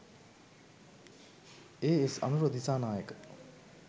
A.S. Anura Dissanayake